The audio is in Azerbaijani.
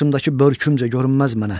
Başındakı börkümcə görünməz mənə.